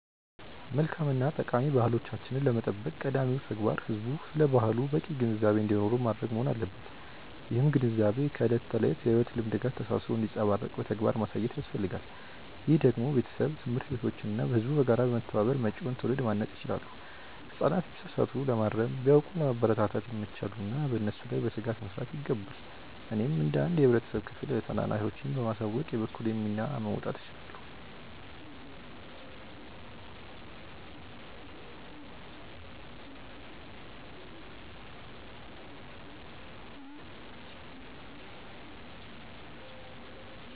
መልካም እና ጠቃሚ ባህሎቻችንን ለመጠበቅ ቀዳሚው ተግባር ህዝቡ ስለ ባህሉ በቂ ግንዛቤ እንዲኖረው ማድረግ መሆን አለበት። ይህም ግንዛቤ ከዕለት ተዕለት የሕይወት ልምምድ ጋር ተሳስሮ እንዲንጸባረቅ በተግባር ማሳየት ያስፈልጋል። ይህንን ደግሞ ቤተሰብ፣ ትምህርት ቤቶች እና ህዝቡ በጋራ በመተባበር መጪውን ትውልድ ማነጽ ይችላሉ። ህጻናት ቢሳሳቱ ለማረም፣ ቢያውቁም ለማበረታታት ይመቻሉና በእነሱ ላይ በትጋት መስራት ይገባል። እኔም እንደ አንድ የህብረተሰብ ክፍል ታናናሾቼን በማሳወቅ የበኩሌን ሚና መወጣት እችላለሁ።